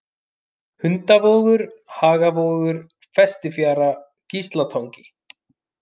Hundavogur, Hagavogur, Festifjara, Gíslatangi